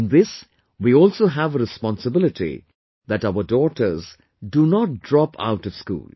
In this we also have a responsibility that our daughters do not drop out of school